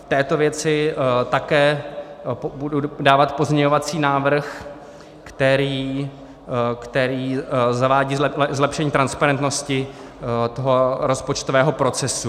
V této věci také budu dávat pozměňovací návrh, který zavádí zlepšení transparentnosti toho rozpočtového procesu.